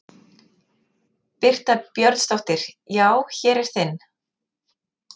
Birta Björnsdóttir: Já, hér er þinn?